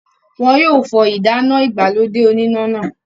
wọn yóò fọ ìdáná ìgbàlódé oníná náà.